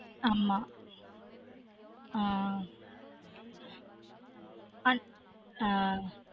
ஆமா ஆன் அந்